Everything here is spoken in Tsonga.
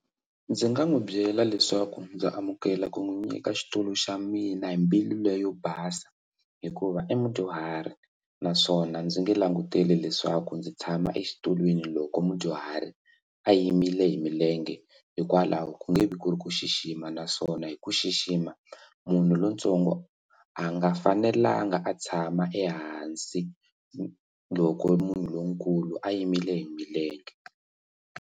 Ndzi nga n'wi byela leswaku ndza amukela ku n'wi nyika xitulu xa mina hi mbilu leyo basa hikuva i mudyuhari naswona ndzi nge languteli leswaku ndzi tshama exitulwini loko mudyuhari a yimile hi milenge hikwalaho ka ku nge vi ku ri ku xixima naswona hi ku xixima munhu lontsongo a nga fanelanga a tshama ehansi loko munhu lonkulu a yimile hi milenge.